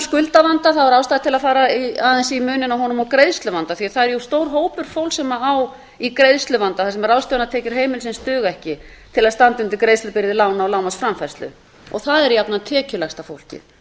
skuldavanda þá er ástæða til að fara aðeins í muninn á honum og greiðsluvanda því það er stór hópur fólks sem á í greiðsluvanda þar sem ráðstöfunartekjur heimilisins duga ekki til að standa undir greiðslubyrði lána og lánaframfærslu og það er jafnvel tekjulægsta fólkið